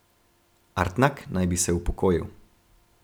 Artnak naj bi se upokojil.